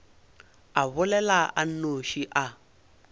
a bolela a nnoši a